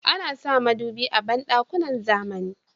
Ana sa madubi a banɗukakn zamani.